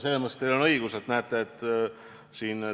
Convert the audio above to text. Selles mõttes teil on õigus, et teema on huvitav.